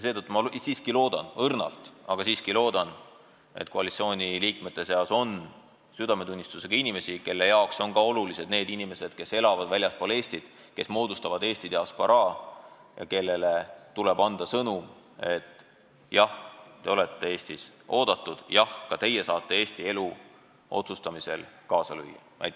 Seetõttu ma siiski loodan – õrnalt, aga siiski loodan –, et koalitsiooniliikmete seas on südametunnistusega inimesi, kelle jaoks on olulised ka need inimesed, kes elavad väljaspool Eestit, kes moodustavad Eesti diasporaa ja kellele tuleb anda sõnum, et jah, te olete Eestis oodatud, jah, ka teie saate Eesti elu üle otsustamisel kaasa lüüa.